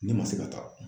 Ne ma se ka taa